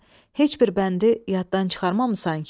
Heç bir bəndi yaddan çıxarmamısan ki?